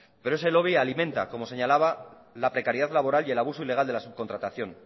pero ese lobby alimenta como señalaba la precariedad laboral y el abuso ilegal de la subcontratación